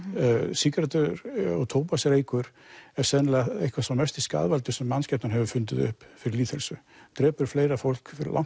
sígarettu og tóbaksreykur er sennilega sá mesti skaðvaldur sem mannskepnan hefur fundið upp fyrir lýðheilsu drepur fleira fólk langt